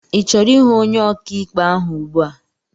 I chọrọ ihụ ọnye ọkà ikpe ahụ ùgbúà?